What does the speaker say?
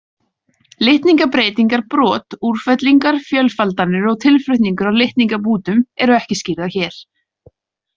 Litningabreytingar, brot, úrfellingar, fjölfaldanir og tilflutningur á litningabútum eru ekki skýrðar hér.